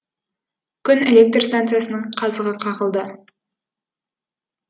күн электр станциясының қазығы қағылды